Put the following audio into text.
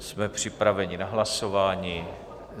Jsme připraveni na hlasování.